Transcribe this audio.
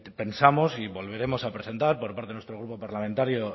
pensamos y volveremos a presentar por parte de nuestro grupo parlamentario